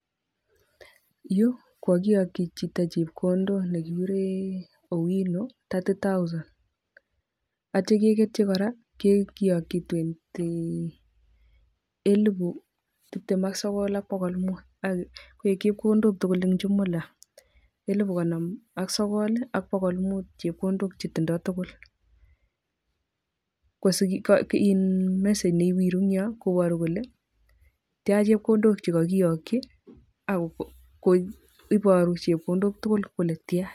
Yu kokakiyakchi chito chepkondok nekikure owino thirty thousand atya kegetchi kora kiyokchi [twentyyy] elbu tiptem ak sogol ak bokol ak muut koech chepkondok tugul eng chumula elbu konom ak sogol ak bokol muut chepkondok chetindoi tugul [iin] mesage newiru ing yo koborukole tya chepkondok chekakiyakchi ak koi koboru chepkondok tugul kole tya.